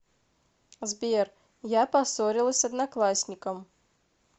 сбер я поссорилась с одноклассником